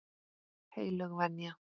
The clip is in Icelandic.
Heilög venja.